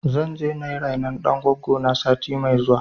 Zan je na yi rainon ɗan goggo na sati mai zuwa.